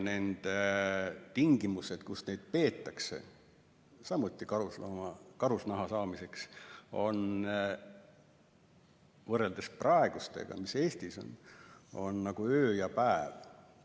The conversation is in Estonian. Need tingimused, kus neid loomi peetakse, samuti karusnaha saamiseks, on võrreldes praegustega, mis Eestis on, nagu öö ja päev.